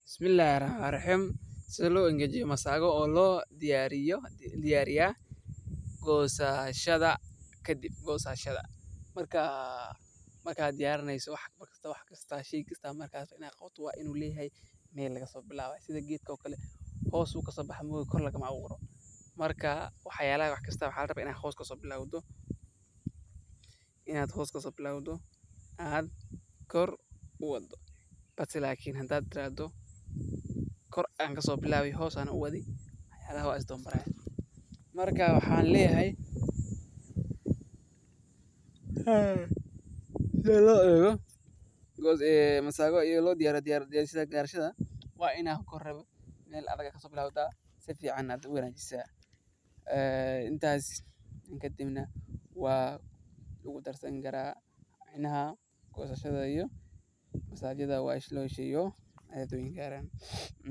Marka diyarineso wax kasta wa inu leyahay mel laga so bilabo sida geedko kale hoos bu kaso baxa ee kor lagama aburo. Marka wax kasta waxa la raba ini hoos laga bilabo aad kor u wado bals hada tirahdo kor ayan kaso bilabo hos ayan uwadi wax aya is dawa marayo. Marka waxan leyahay hadi lo ego masago ayado lo dirayo gososhada wa ina meel adag kaso bilabta si ficana aad u wanajisa intas kadibna wa lagu darsan kara micnha gosashada.